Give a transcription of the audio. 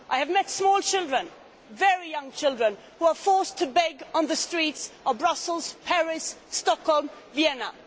I have met small children, very young children, who are forced to beg on the streets of Brussels, Paris, Stockholm and Vienna.